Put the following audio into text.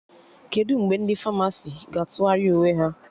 Kedụ mgbe ndị Famasi ga-atụgharị uwe ha?